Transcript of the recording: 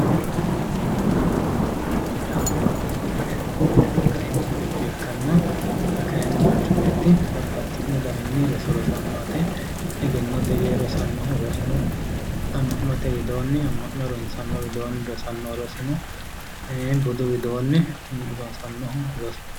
Rosu yaa manchu beettira kaimu buicho ikkanna xa kaayiinni manchu beetti bababxitino daninni roso rosanno yaate. egennote yee rosannohu rosu no. amma'note widoonni, amma'no harunsanni widoonni rosannohu rosu no budu widoonni rosannohu rosu no.